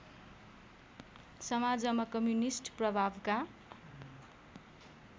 समाजमा कम्युनिस्ट प्रभावका